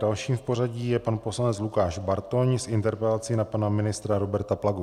Dalším v pořadí je pan poslanec Lukáš Bartoň s interpelací na pana ministra Roberta Plagu.